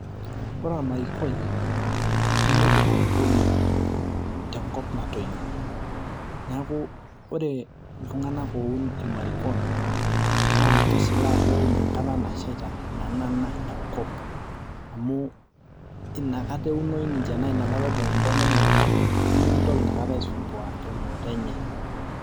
ore ormarikoi nemeidim atubulu tenkop natoyio neeku ore iltung'anak oun irmarikon naa keshilaa peun enkata nashaita nanana enkop amu inakata eunoi ninche naa inakata ibung intona enye enkop nemikintoki inakata aisumbua eunoto enye.